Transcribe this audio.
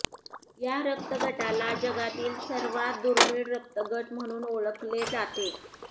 या रक्त गटाला जगातील सर्वात दुर्मिळ रक्त गट म्हणून ओळखल्या जाते